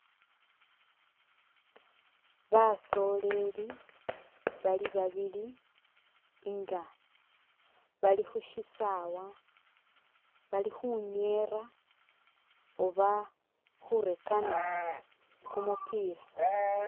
Basoleli bali babili nga balikhushisawa balikhunyera oba khurekana kumupila